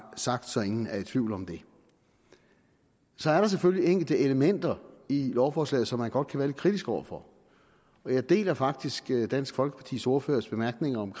sagt så ingen er i tvivl om det så er der selvfølgelig enkelte elementer i lovforslaget som man godt kan være lidt kritisk over for jeg deler faktisk dansk folkepartis ordførers bemærkninger om